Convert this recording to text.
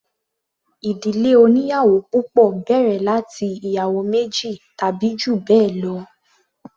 Ìdílé oníyàwò púpọ̀ bẹ̀rẹ̀ láti ìyàwó méjì tàbí jù bẹ́ẹ̀ lọ.